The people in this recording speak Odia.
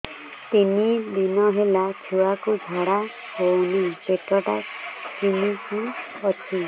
ତିନି ଦିନ ହେଲା ଛୁଆକୁ ଝାଡ଼ା ହଉନି ପେଟ ଟା କିମି କି ଅଛି